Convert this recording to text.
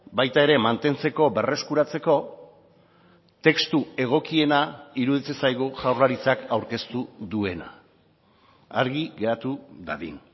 baita ere mantentzeko berreskuratzeko testu egokiena iruditzen zaigu jaurlaritzak aurkeztu duena argi geratu dadin